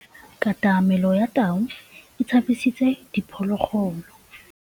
Katamêlô ya tau e tshabisitse diphôlôgôlô.